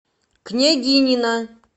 княгинино